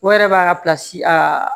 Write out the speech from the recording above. O yɛrɛ b'a ka aa